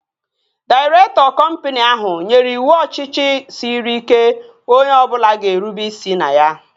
Dairektọ kọmpini ahụ nyere iwu ọchịchị sịrị ike onye ọbụla ga-erube isi na ya